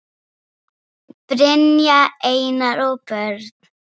Brynja, Einar og börn.